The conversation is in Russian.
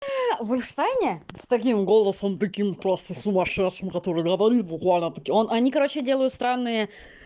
в испании с таким голосом таким просто сумасшедшим который говорит буквально таки он они короче делают странные